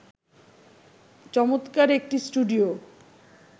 চমৎকার একটি স্টুডিও